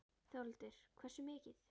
Þórhildur: Hversu mikið?